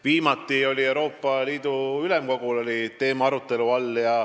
Viimati oli Euroopa Liidu Ülemkogul see teema arutelu all.